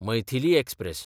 Maithili express